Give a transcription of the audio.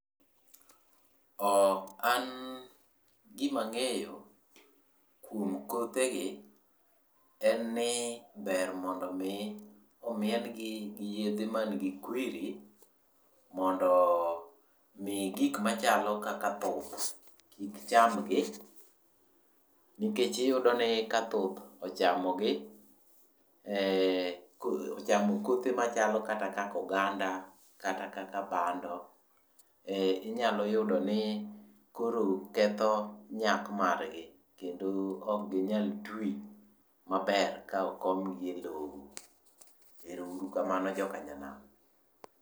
An gima angeyo kuom kothe gi en ni ber mondo mi omien gi gi yedhe man gi kwiri mondo mi gik machalo kaka thuth kik chamgi nikech iyudo ni ka thuth ochamogi, ochamo kothe machalo kaka oganda, kata kaka bando, inyalo yudo ni koro ketho nyak margi kendo ok ginyal twi maber ka okomgi e loo. Erouru kamano joka nyanam